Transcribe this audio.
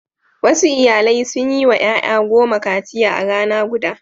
Wasu iyalai sun yi wa ƴaƴa goma kaciya a rana guda.